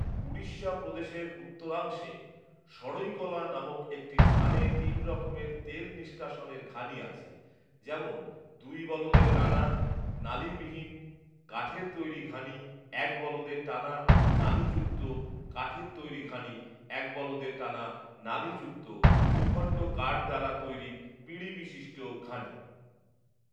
উড়িষ্যা প্রদেশের উত্তরাংশে সঢ়ইকলা নামক একটি স্থানে তিন রকমের তেল নিষ্কাশনের ঘানি আছে, যেমন, দুই বলদে টানা, নালিবিহীন, কাঠের তৈরি ঘানি; এক বলদে টানা, নালিযুক্ত, কাঠের তৈরি ঘানি; এক বলদে টানা, নালিযুক্ত, দুখন্ড কাঠ দ্বারা তৈরি পিঁড়িবিশিষ্ট ঘানি